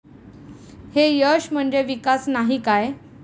हे यश म्हणजे विकास नाही काय?